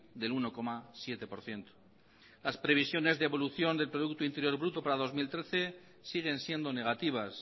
del uno coma siete por ciento las previsiones de evolución del producto interior bruto para dos mil trece siguen siendo negativas